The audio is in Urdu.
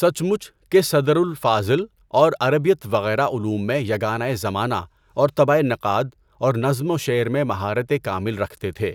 سچ مچ کہ صدر الافاضل اور عربیت وغیرہ علوم میں یگانۂ زمانہ اور طبع نقاد اور نظم و شعر میں مہارت کامل رکھتے تھے،